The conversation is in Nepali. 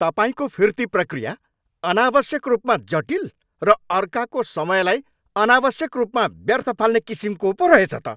तपाईँको फिर्ती प्रक्रिया अनावश्यक रूपमा जटिल र अर्काको समयलाई अनावश्यक रूपमा व्यर्थ फाल्ने किसिमको पो रहेछ त।